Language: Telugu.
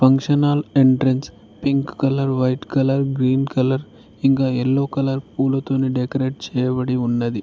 Functional entrance pink colour white colour green colour ఇంకా ఎల్లో కలర్ పూలతో డెకరేట్ చేయబడి ఉన్నది.